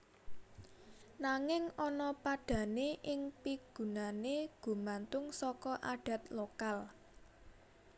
Nanging ana padhané ing pigunané gumantung saka adat lokal